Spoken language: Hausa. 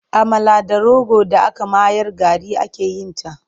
Amala da rogo d aka mayar gari ake yin ta.